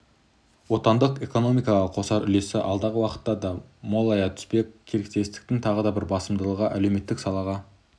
отандық экономикаға қосар үлесі алдағы уақытта да молая түспек серіктестіктің тағы бір басымдылығы әлеуметтік салаға